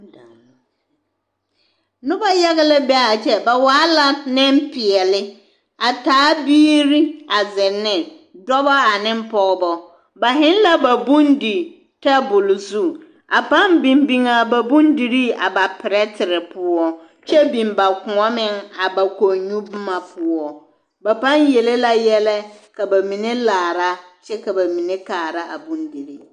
Noba yaga la be a kyɛ, ba waa la nempeɛle a taa biiri a zeŋ ne dɔbɔ ane pɔgebɔ, ba heŋ la ba dondi tabol zu a pãã biŋ biŋaa ba bondirii a ba perɛtere poɔ kyɛ biŋ ba kõɔ meŋ, a ba kɔnnyu boma poɔ, ba pãã yele la yɛlɛ ka bamine laara kyɛ ka bamine kaara a bondirii.